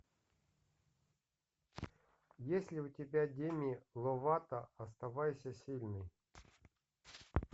есть ли у тебя деми ловато оставайся сильной